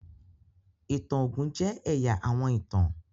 ìtàn ogun jẹ ẹya àwọn ìtàn.